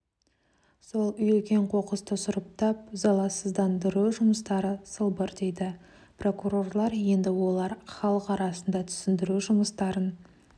сол үйілген қоқысты сұрыптап заласыздандыру жұмыстары сылбыр дейді прокурорлар енді олар халық арасында түсіндіру жұмыстарын